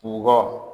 Kungo